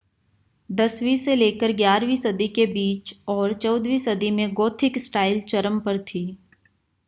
10वीं से लेकर 11वीं सदी के बीच और 14वीं सदी में गोथिक स्टाइल चरम पर थी